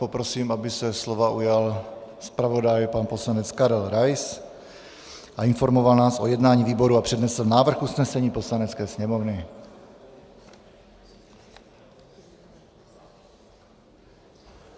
Poprosím, aby se slova ujal zpravodaj pan poslanec Karel Rais a informoval nás o jednání výboru a přednesl návrh usnesení Poslanecké sněmovny.